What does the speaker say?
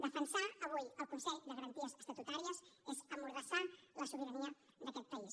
defensar avui el consell de garanties estatutàries és emmordassar la sobirania d’aquest país